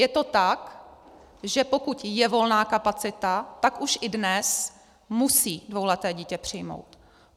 Je to tak, že pokud je volná kapacita, tak už i dnes musí dvouleté dítě přijmout.